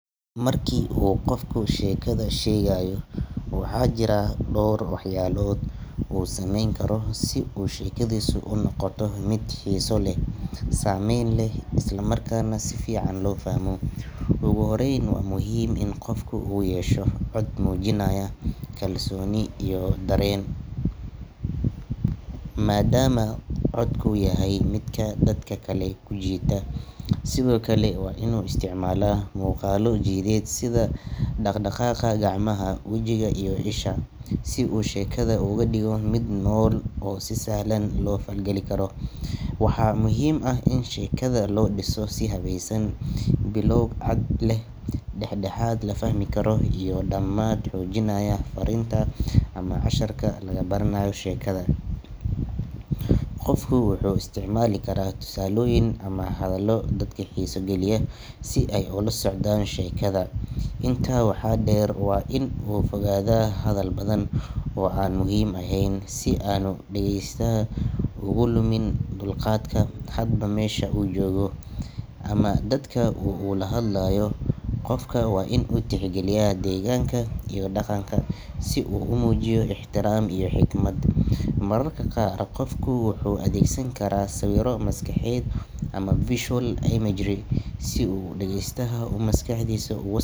Marka qofka uu sheekada sheegayo, waxaa jira dhowr waxyaalood oo uu sameyn karo si sheekadiisu u noqoto mid xiiso leh, saameyn leh, isla markaana si fiican loo fahmo. Ugu horreyn, waa muhiim in qofku uu yeesho cod muujinaya kalsooni iyo dareen, maadaama codku yahay midka dadka kale ku jiita. Sidoo kale, waa inuu isticmaalaa muuqaallo jidheed sida dhaq-dhaqaaqa gacmaha, wejiga iyo isha, si uu sheekada uga dhigo mid nool oo si sahlan loo la falgali karo. Waxaa muhiim ah in sheekada loo dhiso si habaysan—bilow cad leh, dhex-dhexaad la fahmi karo, iyo dhammaad xoojinaya farriinta ama casharka laga baranayo sheekada. Qofku wuxuu isticmaali karaa tusaalooyin ama hadallo dadka xiiso geliya si ay ula socdaan sheekada. Intaa waxaa dheer, waa inuu ka fogaadaa hadal badan oo aan muhiim ahayn si aanu dhagaystaha uga lumin dulqaadka. Hadba meesha uu joogo ama dadka uu la hadlayo, qofka waa inuu tixgeliyaa deegaanka iyo dhaqanka, si uu u muujiyo ixtiraam iyo xikmad. Mararka qaar, qofku wuxuu adeegsan karaa sawirro maskaxeed ama visual imagery, si dhagaystaha uu maskaxdiisa uga.